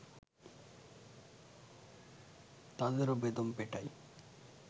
তাদেরও বেদম পেটায়